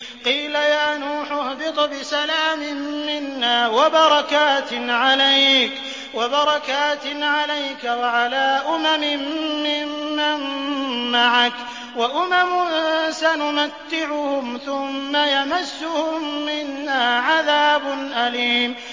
قِيلَ يَا نُوحُ اهْبِطْ بِسَلَامٍ مِّنَّا وَبَرَكَاتٍ عَلَيْكَ وَعَلَىٰ أُمَمٍ مِّمَّن مَّعَكَ ۚ وَأُمَمٌ سَنُمَتِّعُهُمْ ثُمَّ يَمَسُّهُم مِّنَّا عَذَابٌ أَلِيمٌ